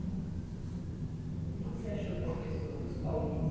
E o que que você achou das pessoas, dos